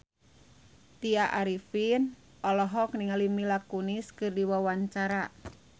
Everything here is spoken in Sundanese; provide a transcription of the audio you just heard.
Tya Arifin olohok ningali Mila Kunis keur diwawancara